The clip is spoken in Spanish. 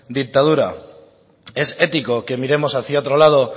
dictadura es ético que miremos hacia otro lado